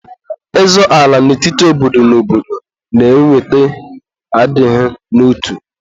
Ịzọ ala n'etiti obodo na obodo na-eweta adịghị n'otu.